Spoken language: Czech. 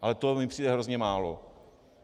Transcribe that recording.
Ale to mi přijde hrozně málo.